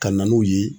Ka na n'u ye